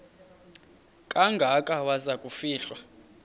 kangaka waza kufihlwa